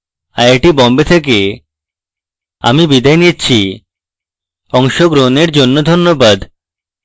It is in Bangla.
আইআইটি বোম্বে থেকে আমি বিদায় নিচ্ছি অংশগ্রহণের জন্য ধন্যবাদ